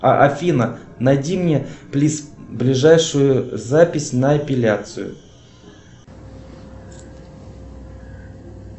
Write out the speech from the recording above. афина найди мне плиз ближайшую запись на эпиляцию